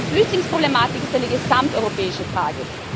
Die Flüchtlingsproblematik ist eine gesamteuropäische Frage.